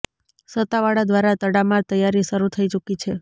સત્તાવાળા દ્વારા તડામાર તૈયારી શરૂ થઇ ચૂકી છે